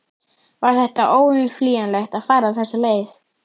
Var þetta óumflýjanlegt að fara þessa leið?